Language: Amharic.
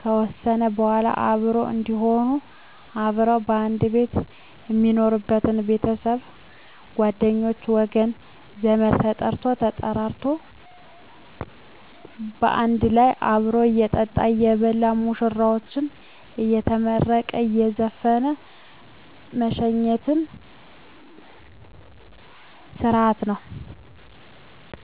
ከወሰነ በዋላ አብሮ እዴሆኑ አብረው ከአንድ ቤት ሜኖሩበች ቤተሰብ ጓደኞቼ ወገን ዘመድ ተጠርቶ ተጠራርቶ ባንድ ላይ አብሮ እየጠጣ እየበላ ሙሽራዎችን አየመረቀ እየዘፈነ ሜሸኝበት ስረሀት ነው